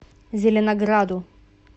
зеленограду